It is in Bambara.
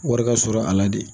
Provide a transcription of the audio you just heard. Wari ka sɔrɔ a la de